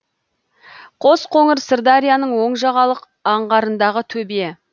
қосқоңыр сырдарияның оң жағалық аңғарындағы төбе